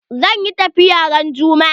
Zan yi tafiya ran juma'a.